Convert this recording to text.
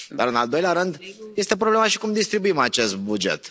Dar în al doilea rând este problema și cum distribuim acest buget.